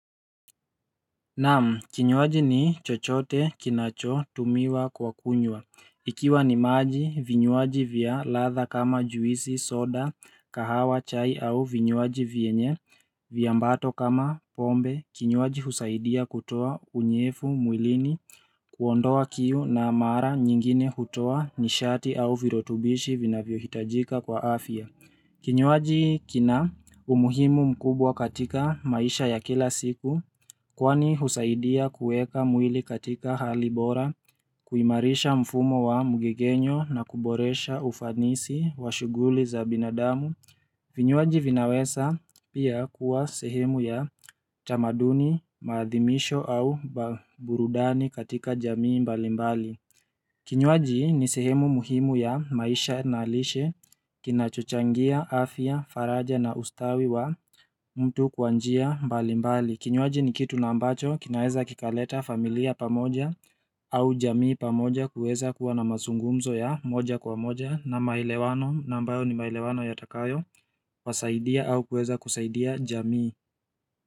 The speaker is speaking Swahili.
Naam kinywaji ni chochote kinachotumiwa kwa kunywa. Ikiwa ni maji vinywaji vya ladha kama juisi soda kahawa chai au vinywaji vyenye viambato kama pombe kinywaji husaidia kutoa unyefu mwilini kuondoa kiu na mara nyingine hutoa nishati au virutubishi vinavyohitajika kwa afya. Kinyuaji kina umuhimu mkubwa katika maisha ya kila siku. Kwani husaidia kueka mwili katika hali bora, kuimarisha mfumo wa mgegenyo na kuboresha ufanisi wa shughuli za binadamu vinywaji vinaweza pia kuwa sehemu ya tamaduni, maadhimisho au burudani katika jamii mbalimbali Kinywaji ni sehemu muhimu ya maisha na lishe, kinachochangia, afya, faraja na ustawi wa mtu kwa njia mbalimbali Kinywaji ni kitu na ambacho kinaeza kikaleta familia pamoja au jamii pamoja kueza kuwa na mazungumzo ya moja kwa moja na maelewano na ambayo ni maelewano yatakayowasaidia au kueza kusaidia jamii.